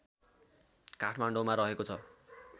काठमाडौँमा रहेको छ